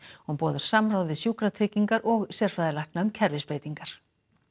hún boðar samráð við Sjúkratryggingar og sérfræðilækna um kerfisbreytingar